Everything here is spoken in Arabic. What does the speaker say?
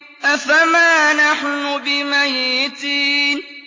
أَفَمَا نَحْنُ بِمَيِّتِينَ